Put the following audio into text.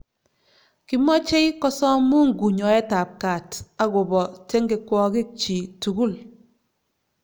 Kimochei kosom Mungu nyoetab gat agobo tengekwokikchi tugul